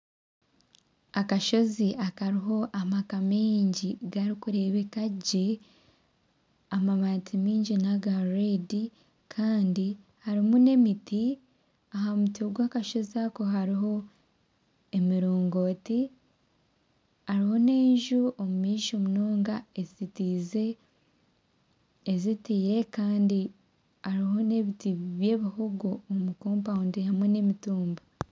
Akashozi akariho amaka maingi garikureebeka gye. Amabaati maingi n'aga reedi, kandi harimu n'emiti. Aha muti gw'akashozi ako hariho emirongooti. Hariho n'enju omumaisho munonga ezitiize ezitiire kandi hariho n'ebiti by'ebihogo omu kompawundi hamwe n'emitumba.